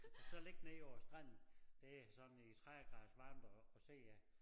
Og så ligge nede på æ strand det sådan i 30 graders varme deroppe og se at